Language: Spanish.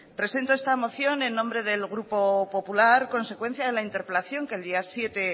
presento esta moción en nombre del grupo popular a consecuencia de la interpelación que el día siete